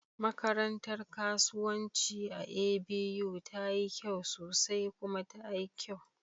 Makarantar kasuwanci a A.B.U tayi kyau sosai kuma tayi kyau